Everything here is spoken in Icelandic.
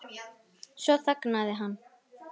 Svo þagnaði hann.